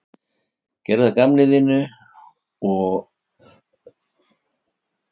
Gerðu að gamni sínu og höfðu hátt þegar allt var tíðindalaust á tjaldinu.